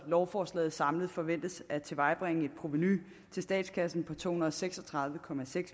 lovforslaget samlet forventes at tilvejebringe et provenu til statskassen på to hundrede og seks og tredive